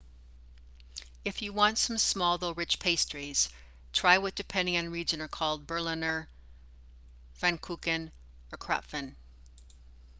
if you want some small though rich pastries try what depending on region are called berliner pfannkuchen or krapfen